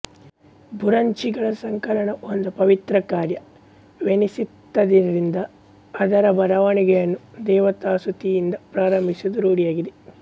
ಬುರಂಜೀಗಳ ಸಂಕಲನ ಒಂದು ಪವಿತ್ರಕಾರ್ಯವೆನಿಸಿತ್ತಾದ್ದರಿಂದ ಅದರ ಬರವಣಿಗೆಯನ್ನು ದೇವತಾಸ್ತುತಿಯಿಂದ ಪ್ರಾರಂಭಿಸುವುದು ರೂಢಿಯಾಗಿದೆ